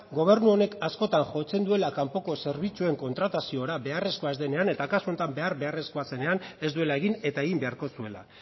gobernu honek askotan jotzen duela kanpoko zerbitzuen kontrataziora beharrezkoa ez denean eta kasu honetan behar beharrezkoa zenean ez duela egin eta egin beharko zuela